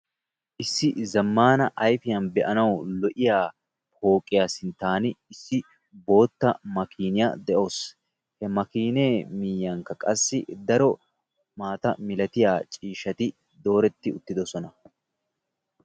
Issi zammaana ayfiyaan be'anawu lo'iyaa pooqiyaa sinttan issi bootta makiiniyaa de'awusu, he makiinee miyiyankka qassi daro maata milatiya ciishshati dooretti utidosona.